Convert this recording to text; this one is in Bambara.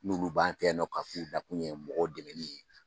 N'olu b'an fɛ yan k'a f'u nakun ye mɔgɔw dɛmɛni ye